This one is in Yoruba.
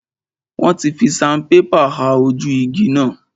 Wọ́n fi sanpépà ha ojú igi náà.